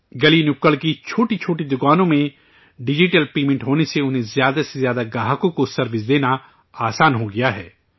گلی نکڑ کی چھوٹی چھوٹی دکانوں میں ڈیجیٹل پیمنٹ ہونے سے انہیں زیادہ سے زیادہ صارفین کو سروس دینا آسان ہو گیا ہے